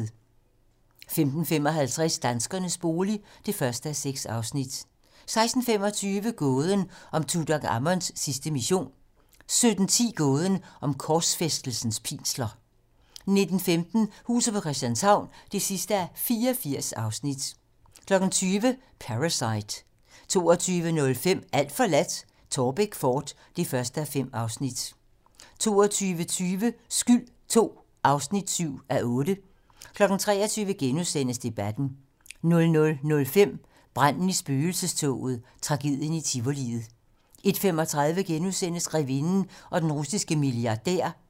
15:55: Danskernes bolig (1:6) 16:25: Gåden om Tutankhamons sidste mission 17:10: Gåden om korsfæstelsens pinsler 19:15: Huset på Christianshavn (84:84) 20:00: Parasite 22:05: Alt forladt - Taarbæk fort (1:5) 22:20: Skyld II (7:8) 23:00: Debatten * 00:05: Branden i spøgelsestoget Tragedien i tivoliet 01:35: Grevinden og den russiske milliardær *